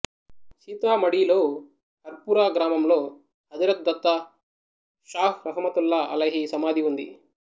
సీతామఢీలో హర్పురా గ్రామంలో హజరత్ దత్తా షాహ్ రహముతుల్లా అలైహి సమాధి ఉంది